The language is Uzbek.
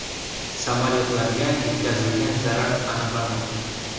Samolyotlarga yetkazilgan zarar aniqlanmoqda.